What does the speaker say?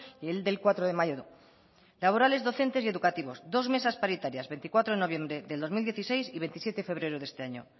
y el del cuatro de mayo laborales docentes y educativos dos mesas paritarias veinticuatro de noviembre del dos mil dieciséis y veintisiete de febrero de este año